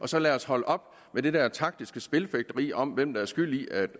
så lad os holde op med det der taktiske spilfægteri om hvem der er skyld i at